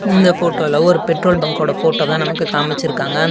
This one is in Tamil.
இந்த ஃபோட்டோல ஒரு பெட்ரோல் பங்க்கோட ஃபோட்டோ தான் நமக்கு காமிச்சிருக்காங்க.